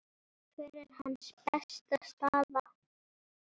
Hver er hans besta staða?